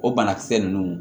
O banakisɛ ninnu